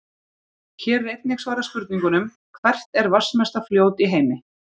Hér er einnig svarað spurningunum: Hvert er vatnsmesta fljót í heimi?